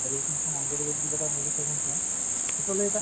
televisions খন on কৰি কিবা এটা movies এখন চোৱা, পিছলৈ এটা